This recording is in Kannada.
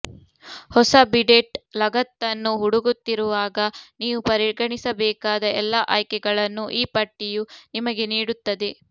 ಹೊಸ ಬಿಡೆಟ್ ಲಗತ್ತನ್ನು ಹುಡುಕುತ್ತಿರುವಾಗ ನೀವು ಪರಿಗಣಿಸಬೇಕಾದ ಎಲ್ಲಾ ಆಯ್ಕೆಗಳನ್ನು ಈ ಪಟ್ಟಿಯು ನಿಮಗೆ ನೀಡುತ್ತದೆ